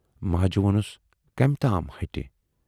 " ماجہِ وونُس کمہِ تام ہَٹہِ۔